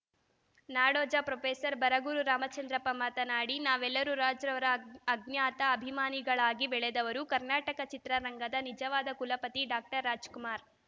ನಾಡೋಜ professor Baraguru Ramachandrappa ಮಾತನಾಡಿ ನಾವೆಲ್ಲರೂ ರಾಜ್‌ರವರ ಅಜ್ಞಾತ ಅಭಿಮಾನಿಗಳಾಗಿ ಬೆಳೆದವರು ಕರ್ನಾಟಕ ಚಿತ್ರರಂಗದ ನಿಜವಾದ ಕುಲಪತಿ ಡಾಕ್ಟರ್ ರಾಜ್‌ಕುಮಾರ್‌